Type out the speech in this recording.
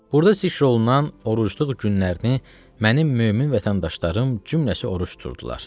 Burda zikr olunan orucluq günlərini mənim mömin vətəndaşlarım cümləsi oruc tuturdular.